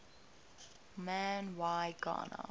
man y gana